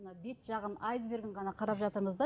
мына бет жағын айсбергін ғана қарап жатырмыз да